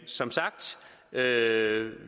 som sagt er er